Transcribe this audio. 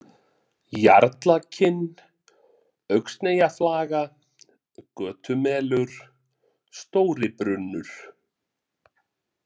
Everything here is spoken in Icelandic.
Jarlakinn, Öxneyjaflaga, Götumelur, Stóribrunnur